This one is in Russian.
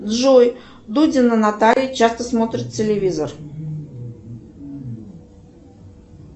джой дудина наталья часто смотрит телевизор